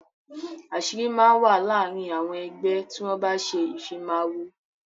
Àṣírí máa ń wà láàrin àwọn ẹgbẹ́ tí wọn bá ṣe ìfimawo.